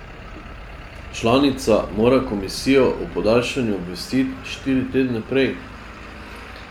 Članica mora komisijo o podaljšanju obvestiti štiri tedne prej.